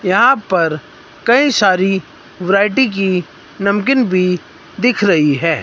यहां पर कई सारी वैरायटी की नमकीन भी दिख रही है।